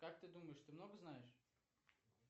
как ты думаешь ты много знаешь